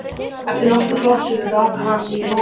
Eftir nokkrar blaðsíður rak hann í rogastans.